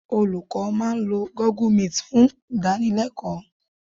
Olùkọ́ máa lo Google meet fún ìdánilẹ́kọ̀ọ́